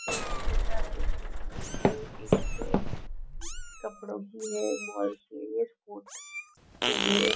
ये तस्वीर में आप देख रहे हैं यह तस्वीर एक कपड़ो की है बॉल की है ये स्पोर्ट के लिए --